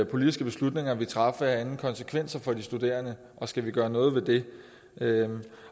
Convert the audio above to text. politiske beslutninger vi træffer herinde konsekvenser for de studerende og skal vi gøre noget ved det